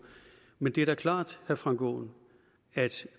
men det er da klart herre frank aaen at